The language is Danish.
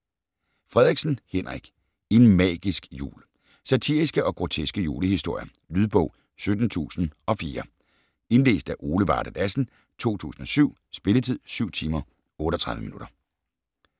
Frederiksen, Henrik: En magisk jul Satiriske og groteske julehistorier. Lydbog 17004 Indlæst af Ole Varde Lassen, 2007. Spilletid: 7 timer, 38 minutter.